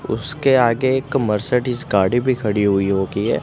उसके आगे एक मर्सिडीज़ गाड़ी भी खड़ी हुई होगी ये--